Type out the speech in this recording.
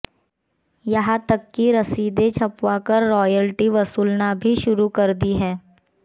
यहां तक की रसीदें छपवाकर रॉयल्टी वसूलना भी शुरू कर दी है